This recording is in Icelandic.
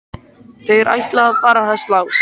Þeir ætla að fara að slást!